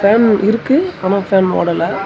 Fan இருக்கு ஆனா fan ஓடல.